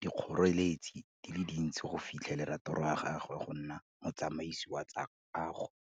dikgoreletsi di le dintsi go fitlhelela toro ya gagwe go nna motsamasi wa tsa kago.